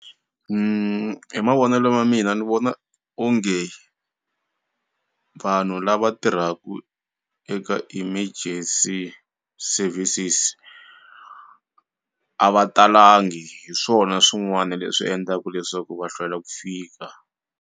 Hi mavonelo ma mina ni vona onge vanhu lava tirhaku eka emergency services a va talangi hi swona swin'wani leswi endlaku leswaku va hlwela ku fika.